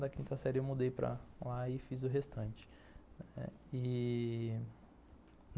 Da quinta série eu mudei para lá e fiz o restante. E...